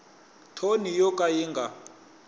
thoni yo ka yi nga